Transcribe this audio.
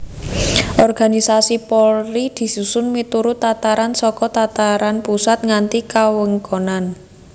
Organisasi Polri disusun miturut tataran saka tataran pusat nganti kawewengkonan